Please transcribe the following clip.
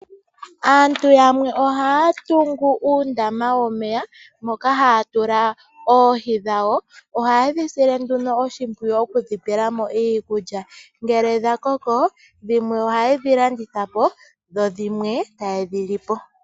Aantu yamwe ohaya tungu uundama womeya, moka haya tula oohi dhawo. Ohaye dhi sile nduno oshimpwiyu, okudhi pela mo iikulya. Ngele dhakoko, ohaye dhi landitha po, dhimwe taye dhi lipo.